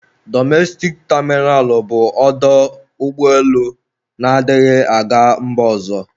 Dọmestik tamịnal bụ ọdọ ụgbọelu na-adighị aga mba ọzọ.